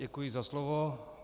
Děkuji za slovo.